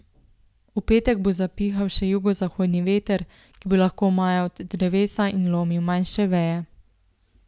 V petek bo zapihal še jugozahodni veter, ki bo lahko majal drevesa in lomil manjše veje.